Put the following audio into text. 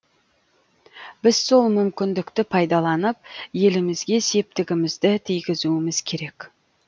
біз сол мүмкіндікті пайдаланып елімізге септігімізді тигізуіміз керек